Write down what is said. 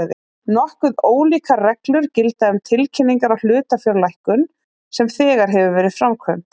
Nokkuð ólíkar reglur gilda um tilkynningar á hlutafjárlækkun sem þegar hefur verið framkvæmd.